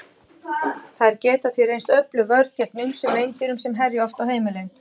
Þær geta því reynst öflug vörn gegn ýmsum meindýrum sem herja oft á heimili.